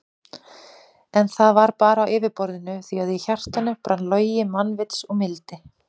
En það var bara á yfirborðinu því að í hjartanu brann logi mannvits og mildi.